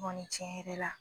N kɔni cɛn yɛrɛ la